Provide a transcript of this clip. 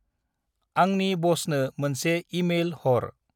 आंंनि बसनो मोनसे इ-मेल हर।